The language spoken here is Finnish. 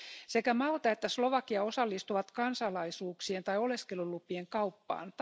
Sekä Malta että Slovakia osallistuvat kansalaisuuksien tai oleskelulupien kauppaan.